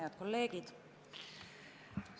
Head kolleegid!